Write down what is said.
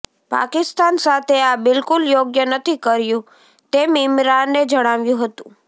પાકિસ્તાન સાથે આ બિલકુલ યોગ્ય નથી કર્યું તેમ ઈમરાને જણાવ્યું હતું